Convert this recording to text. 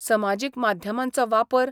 समाजीक माध्यमांचो वापर